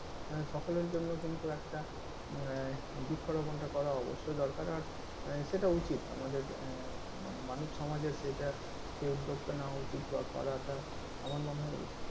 সকলের জন্য কিন্তু একটা আহ বৃক্ষ রোপণ টা করা অবশ্যই দরকার আর সেটা উচিৎ আমাদের আহ মানে মানব সমাজের সেটা, সেই উদ্যোগ টা নেওয়া উচিৎ বা করাটা আমার মনে হয় উচিৎ।